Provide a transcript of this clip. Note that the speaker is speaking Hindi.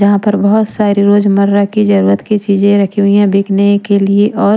जहाँ पर बहुत सारी रोजमर्रा की जरूरत की चीजें रखी हुई हैं बिकने के लिए और--